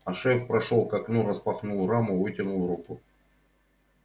а шеф прошёл к окну распахнул раму вытянул руку